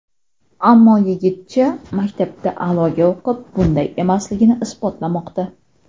Ammo yigitcha maktabda a’loga o‘qib, bunday emasligini isbotlamoqda.